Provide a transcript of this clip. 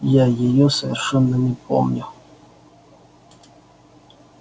я её совершенно не помню